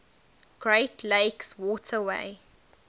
great lakes waterway